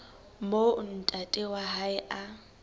moo ntate wa hae a